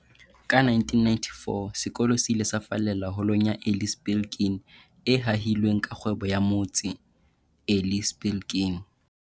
Ka 1994, sekolo se ile sa fallela Holong ya Eli Spilkin, e hahilweng ke rakgwebo wa motse, Eli Spilkin.